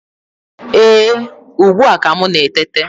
Ee, ugbu a ka m na-eteta